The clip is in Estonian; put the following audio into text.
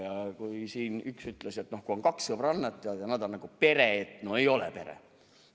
Ja kui siin üks ütles, et kui on kaks sõbrannat, siis nad on nagu pere – no ei ole pere.